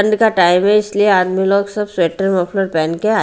ठंड का टाइम है इसलिए आदमी लोग सब स्वेटर मफलर पहन के आ--